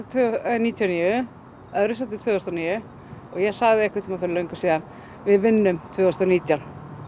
níutíu og níu öðru sæti tvö þúsund og níu og ég sagði einhvern tímann fyrir löngu síðan við vinnum tvö þúsund og nítján